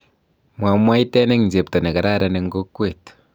mwamwaiten eng chepto nekararan eng kokwet